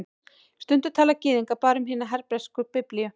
Stundum tala Gyðingar bara um hina hebresku Biblíu